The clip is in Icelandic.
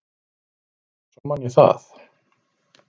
Svo man ég það.